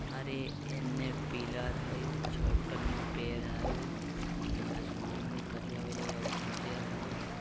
अरे अन्ने पिलर है छोटे ने पेड़ है उन्ने आसमान में करिया होने उज्जर है।